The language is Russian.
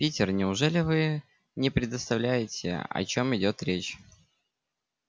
питер неужели вы не предоставляете о чём идёт речь